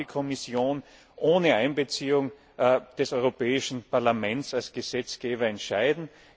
Was darf die Kommission ohne Einbeziehung des Europäischen Parlaments als Gesetzgeber entscheiden?